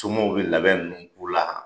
Somɔɔ be labɛn nunnu k'u la